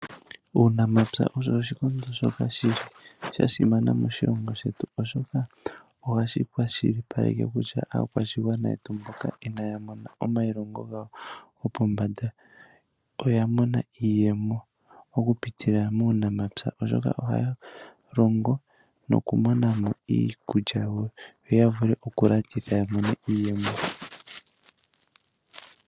Uunamapya owo oshikondo shoka sha simana moshilongo shetu, oshoka ohashi kwashilipaleke kutya aakwashigwana mboka inaya mona omailongo gawo gopombanda oya mona iiyemo okupitila muunamapya, oshoka ohaya longo nokumona mo iikulya yawo yo ya vule okulanditha ya mone iiyemo.